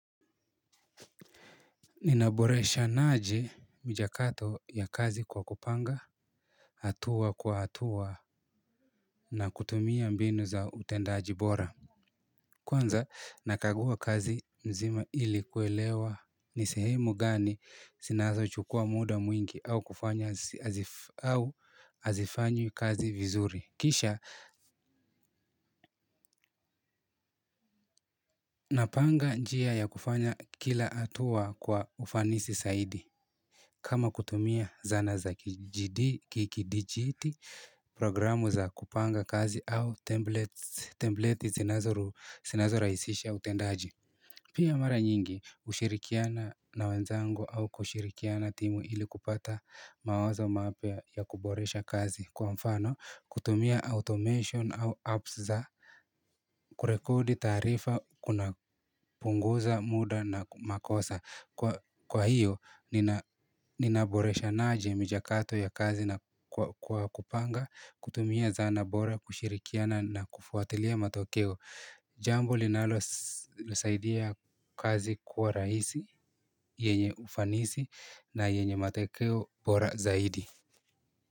Ninaboreshana aje michakato ya kazi kwa kupanga hatua kwa hatua na kutumia mbinu za utendaji bora. Kwanza nakagua kazi mzima ili kuelewa ni sehemu gani zinazo chukua muda mwingi au kufanya au hazifanywi kazi vizuri. Kisha napanga njia ya kufanya kila hatua kwa ufanisi zaidi. Kama kutumia zana za kidigitali, program za kupanga kazi au templet zinazo rahisisha utendaji. Pia mara nyingi hushirikiana na wenzangu au kushirikiana timu ili kupata mawazo mapya ya kuboresha kazi. Kwa mfano, kutumia automation au apps za kurekodi taarifa kuna punguza muda na makosa. Kwahiyo, ninaboreshanaje michakato ya kazi na kwa, kwa kupanga, kutumia zana bora, kushirikiana na kufuatilia matokeo. Jambo linalo saidia kazi kuwa rahisi, yenye ufanisi na yenye matokeo bora zaidi.